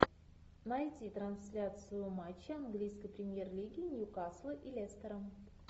найти трансляцию матча английской премьер лиги ньюкасла и лестера